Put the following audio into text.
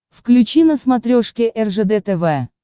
включи на смотрешке ржд тв